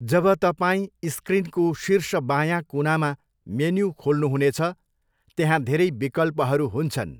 जब तपाईँ स्क्रिनको शीर्ष बायाँ कुनामा मेन्यु खोल्नुहुनेछ, त्यहाँ धेरै विकल्पहरू हुन्छन्।